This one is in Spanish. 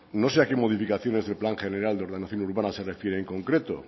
no sé a qué modificaciones del plan general de organización urbana se refiere en concreto